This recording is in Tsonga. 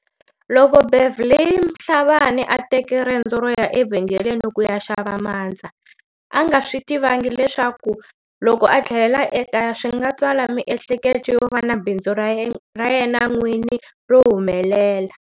Loko Beverly Mhlabane a teke rendzo ro ya evhengeleni ku ya xava mandza, a nga swi tivangi leswaku loko a tlhelela ekaya swi nga tswala miehleketo yo va na bindzu ra yena n'wini ro humelela.